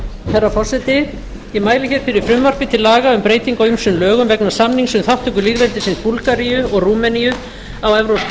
herra forseti ég mæli hér fyrir frumvarpi til laga um breytingu á ýmsum lögum vegna samnings um þátttöku lýðveldisins búlgaríu og rúmeníu á evrópska